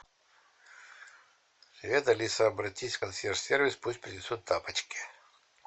привет алиса обратись в консьерж сервис пусть принесут тапочки